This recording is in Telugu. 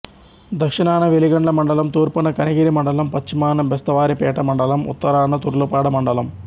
దక్షణాన వెలిగండ్ల మండలం తూర్పున కనిగిరి మండలం పశ్చిమాన బెస్తవారిపేట మండలం ఉత్తరాన తర్లుపాడు మండలం